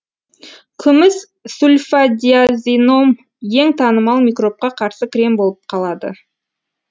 күміс сульфадиазином ең танымал микробқа қарсы крем болып қалады